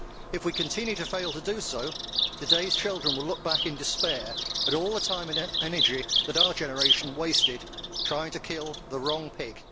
If we continue to fail to do so, today's children will look back in despair at all the time and energy that our generation wasted trying to kill the wrong pig.